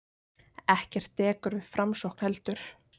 Ekkert dekur við framsókn heldur.